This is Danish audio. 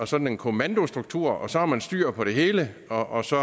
sådan en kommandostruktur og så har man styr på det hele og så